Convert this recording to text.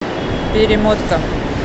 перемотка